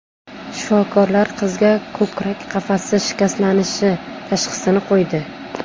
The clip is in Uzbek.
Shifokorlar qizga ko‘krak qafasi shikastlanishi tashxisini qo‘ydi.